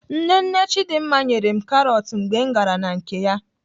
Nne nne Chidimma nyere m karọt mgbe m gara na nke ya.